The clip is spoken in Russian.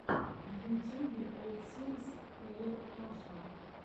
в ютюбе олл сингс хэир раша